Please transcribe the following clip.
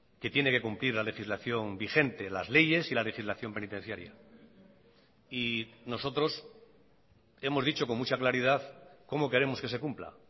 que tiene que cumplir la legislación vigente las leyes y la legislación penitenciaria y nosotros hemos dicho con mucha claridad cómo queremos que se cumpla